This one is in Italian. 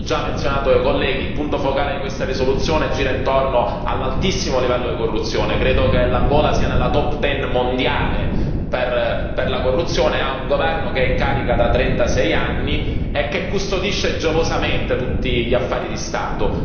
L'hanno già menzionato i colleghi, il punto focale di questa risoluzione gira intorno all'altissimo livello di corruzione, credo che l'Angola sia nella top ten mondiale per la corruzione, ha un governo che è in carica da 36 anni e che custodisce gelosamente tutti gli affari di Stato